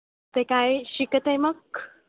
ते काय शिकत आहे मग?